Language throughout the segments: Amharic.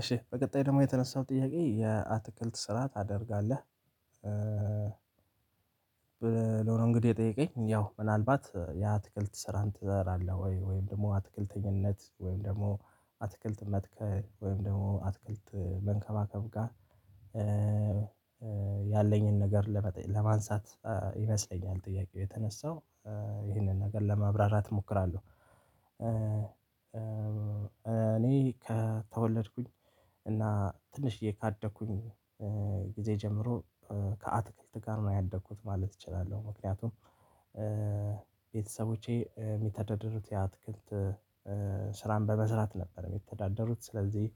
እሺ በቀጣይ ደግሞ የተነሳው ጥያቄ የአትክልት ስራ ታደርጋለህ? ብለው ነው እንግዲህ የጠየቀኝ ያው ምናልባት ያአትክልት ስራን ትሰራለህ ወይ ወይም ደግሞ አትክልተኝነት ወይም ደግሞ አትክልት መትከል ወይም ደግሞ አትክልት መንከባከብ ጋር ያለኝን ነገር ለመጠ ለማንሳት ይመስለኛል ጥያቄው የተነሳው ይህንን ነገር ለመብራራት እሞክራለሁ። እኔ ከተወለድኩኝ እና ትንሽዬ ካደኩኝ ጊዜ ጀምሮ ከአትክልት ጋር ነው ያደኩት ማለት እችላለሁ ምክንያቱም። ቤተሰቦቼ የሚተደድሩት የአትክልት ስራን በመስራት ነበር የሚተዳደሩት ሥለዚህ።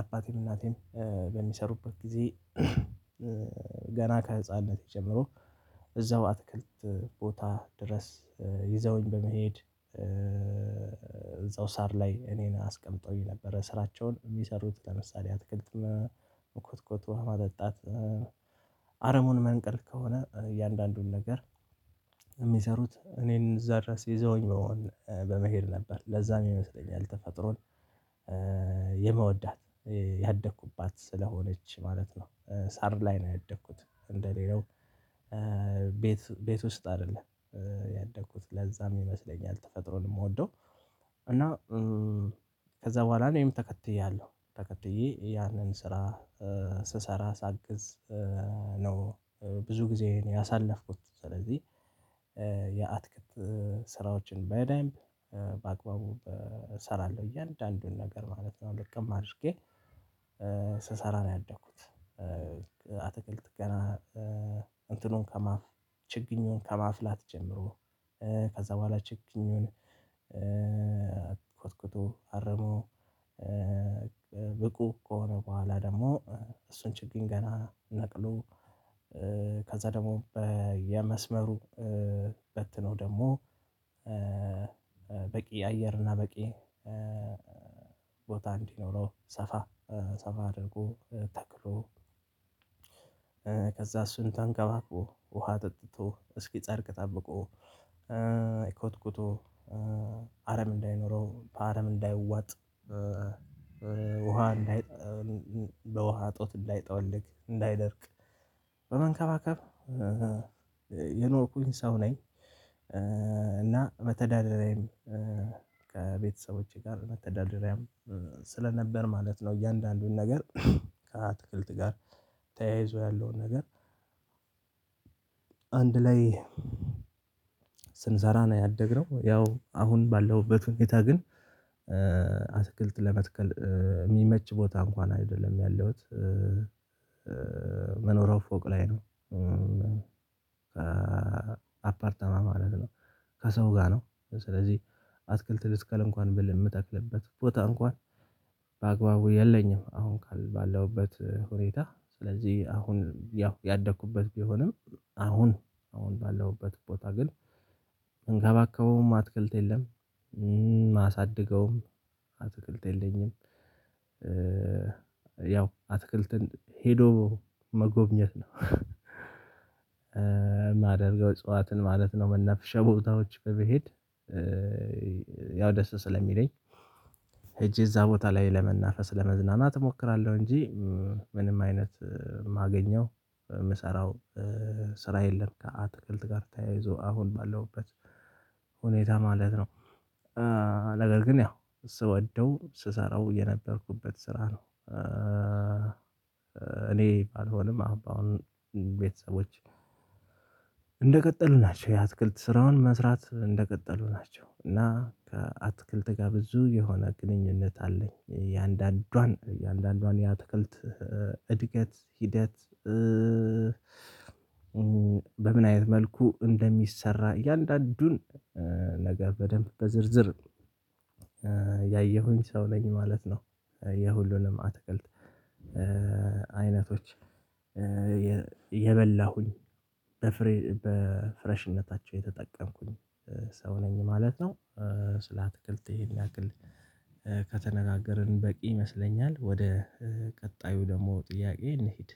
አባቴን እናቴም በሚሰሩበት ጊዜ ገና ከህፃንነት ጀምሮ እዛው አትክልት ቦታ ድረስ ይዘውኝ በመሄድ እዛው ሳር ላይ እኔን አስቀምጦኝ ነበር ስራቸውን የሚሰሩት ለምሳሌ አትክልት ኮትኩቶ ውሃ ማጠጣት አረሟን መንቀል ከሆነ እያንዳንዱን ነገር የሚሰሩት እኔን እዛ ድረስ ይዘውኝ በመሆን በመሄድ ነበር ለዛም ይመስለኛል ተፈጥሮን የምወዳት ያደኩባት ስለሆነች ማለት ነው። ሳር ላይ ነው ያደኩት እንደ ሌላው ቤት ቤት ውስጥ አይደለም። ያደኩት ለዛም ይመስለኛል ተፈጥሮን የምወደው። እና ከዛ በኋላ እኔም ተከትያለሁ ተከትዬ ያንን ስራ ስሰራ ሳግዝ ነው ብዙ ጊዜ ያሳለፍኩት። ሥለዚህ የአትክት ስራዎችን በደንብ በአግባቡ እሰራለሁ እያንዳንዱን ነገር ማለት ነው ልቅም አድርጌ ስሰራ ነው ያደኩት። አትክልት ገና እንትኑን ከማፍ ችግኜን ከማፍላት ጀምሮ ከዛ በኋላ ችግኙን ኮትኩቶ አርሞ ብቁ ከሆነ በኋላ ደግሞ እሱን ችግኝ ገና ነቅሎ ከዛ ደግሞ የመስመሩ በትኖ ደግሞ አየር እና በቂ ቦታ እንዲኖረው ሰፋ ሰፋ አድርጎ ተክሎ ከዛ እሱን ተንከባክቦ ውሃ አጠጥቶ እስኪ ጸድቅ ጠብቆ ኮትኩቶ አረም እንዳይኖረው በአረም እንዳይዋጥ ውሃ እንዳይ በውሃ እጦት እንዳይጠወልቅ እንዳይደርቅ በመንከባከብ የኖርኩኝ ሰው ነኝ። እና መተዳደራዬም ከቤተሰቦቼ ጋር መተዳደሪያም ስለነበር ማለት ነው። እያንዳንዱን ነገር ከአትክልት ጋር ተያይዞ ያለውን ነገር አንድ ላይ ስንሰራ ነው ያደግነው። ያው አሁን ባለሁበት ሁኔታ ግን አትክልት ለመትከል የሚመች ቦታ እንኳን አይደለም ያለሁት መኖሪያው ፎቅ ላይ ነው። አፓርታማ ማለት ነው። ከሰው ጋር ነው ስለዚህ አትክልት ልትከል እንኳን ብል የምተክልበት ቦታ እንኳን በአግባቡ የለኝም። አሁን ባለውበት ሁኔታ ሥለዚህ አሁን ያው ያደኩበት ቢሆንም አሁን አሁን ባለሁበት ቦታ ግን የምከባከበውም አትክልት የለም። ማሳድገውም አትክልት የለኝም። ያው አትክልትን ሄዶ መጎብኘት ነው። የማደርገው እጽዋትን ማለት ነው መናፍሻ ቦታዎች በመሄድ ደስ ስለሚለኝ ሂጄ እዛ ቦታ ላይ ለመናፈስ ለመዝናናት እሞክራለሁ። እንጂ ምንም አይነት የማገኘው የምሰራው ስራ የለም ከአትክልት ጋር ተያይዞ አሁን ባለሁበት ሁኔታ ማለት ነው። ነገር ግን ያው ስወደው ስሰራው የነበርኩበት ስራ ነው። እኔ ባልሆንም አሁን አሁን ቤተሰቦች እንደቀጠሉ ናቸው የአትክልት ስራውን መስራት እንደቀጠሉ ናቸው። እና ከአትክልት ጋር ብዙ የሆነ ግንኙነት አለኝ። የአንዳንዷን የአንዳንዷን የአትክልት እድገት ሂደት በምን አይነት መልኩ እንደሚሰራ እያንዳንዱን ነገር በደንብ በዝርዝር ያየሁኝ ሰው ነኝ ማለት ነው። የሁሉንም አትክልት አይነቶች የ የበላሁኝ በፍሬ በፍሬሽነታቸው የተጠቀምኩኝ ሰው ነኝ ማለት ነው። ስለ አትክልት ይሄን ያክል ከተነጋገርን በቂ ይመስለኛል። ወደ ቀጣዩ ደግሞ ጥያቄ እንሂድ